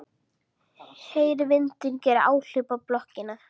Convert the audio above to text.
Heyri vindinn gera áhlaup á blokkina.